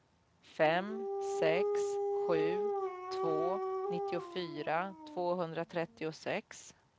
fem sex sju två nittiofyra tvåhundratrettiosex